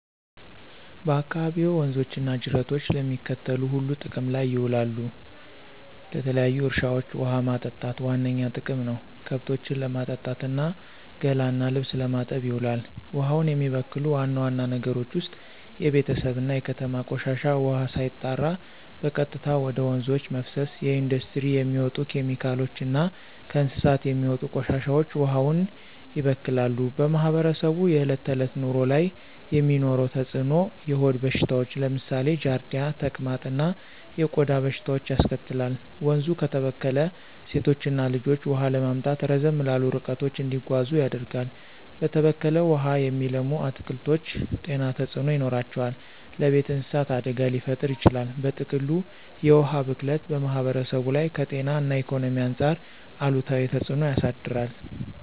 በአካባቢዎ ወንዞች እና ጅረቶች ለሚከተሉት ሁሉ ጥቅም ላይ ይውላሉ -ለተለያዩ እርሻዎች ውሃ ማጠጣት ዋነኛ ጥቅም ነው፣ ከብቶችን ለማጠጣት እና ገላ እና ልብስ ለመታጠብ ይውላል። ውሃውን የሚበክሉ ዋና ዋና ነገሮች ውስጥ የቤተሰብ እና የከተማ ቆሻሻ ውሃ ሳይጣራ በቀጥታ ወደ ወንዞች መፍሰስ፣ የኢንዱስትሪ የሚወጡ ኬሚካሎች እና ከእንስሳት የሚወጡ ቆሻሻዎች ውሃውን ያበክላሉ። በማህበረሰቡ የዕለት ተዕለት ኑሮ ላይ የሚኖረው ተጽዕኖ -የሆድ በሽታዎች (ለምሳሌ ጃርዲያ፣ ተቅማጥ) እና የቆዳ በሽታዎች ያስከትላል፣ ወንዙ ከተበከለ ሴቶችና ልጆች ውሃ ለማምጣት ረዘም ላሉ ርቀቶች እንዲጓዙ ያደርጋል፣ በተበከለ ውሃ የሚለሙ አትክልቶች ጤና ተጽዕኖ ይኖራቸዋል፣ ለቤት እንስሳት አደጋ ሊፈጥር ይችላል። በጥቅሉ፣ የውሃ ብክለት በማህበረሰቡ ላይ ከጤና እና ኢኮኖሚ አንጻር አሉታዊ ተጽዕኖ ያሳድራል።